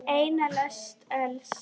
Eina lest öls.